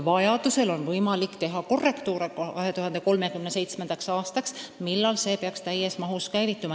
Vajadusel on võimalik teha korrektuure 2037. aastaks, millal süsteem peaks täies mahus käivituma.